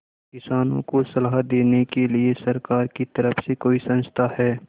किसानों को सलाह देने के लिए सरकार की तरफ से कोई संस्था है